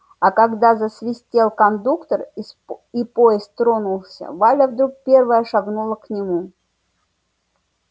а когда засвистел кондуктор и поезд тронулся валя вдруг первая шагнула к нему